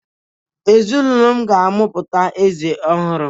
Ezinụlọ m ga-amụpụta eze ọhụrụ